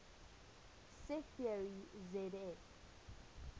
set theory zf